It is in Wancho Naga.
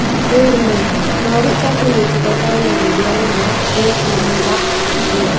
ate gama ngaweh chongpanu chitai pale logogiah le lo khenyak mangak paknu.